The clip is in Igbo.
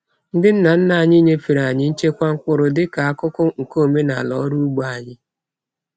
Ndị nna nna anyị nyefere anyị nchekwa mkpụrụ dịka akụkụ nke omenala ọrụ ugbo anyị.